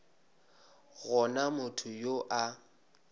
go na motho yo a